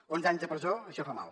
onze anys de presó això fa mal